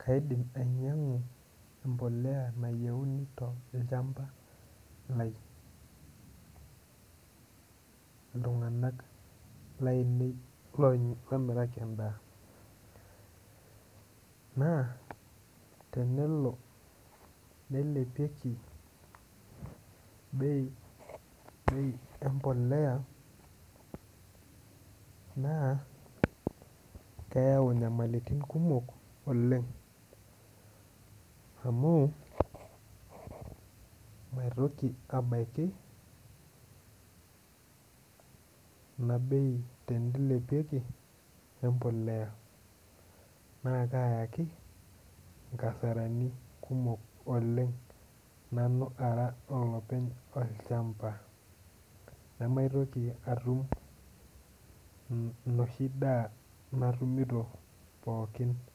Kaidim ainyangu mpolea nayieuni tolchamba ltunganak lainei lamoraki endaa na tenelo neilepieki bei empolea na keyau nyamalitin kumok oleng amu maitoki abaki inabei neilepieki embolea na kayaki nkasaranikumok oleng nanu ara olopeny olchamba namaitoki atum enoshi daa pooki natum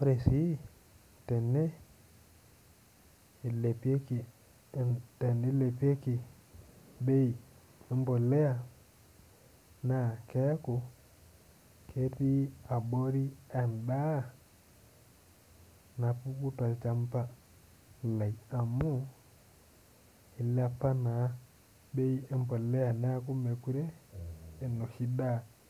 ore si tenewueji na tenilepieki bei embolea na keaku ketii abori endaa napuku tolchamba lai amu ilepa naa bej embolea neaku mekute a enoshi daa